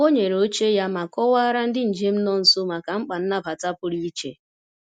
Ọ nyere oche ya ma kọwaara ndị njem nọ nso maka mkpa nnabata pụrụ iche.